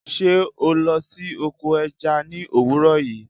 Sé o lo sí oko eja ni òwúrò yi?